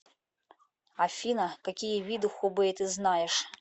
афина какие виды хубэй ты знаешь